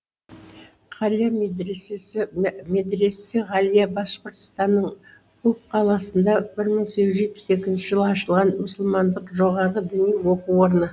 ғалия медресесі медресе ғалия башқұртстанның үфі қаласында бір мың сегіз жүз жетпіс екінші жылы ашылған мұсылмандық жоғары діни оқу орны